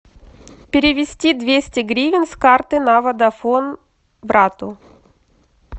перевести двести гривен с карты на водафон брату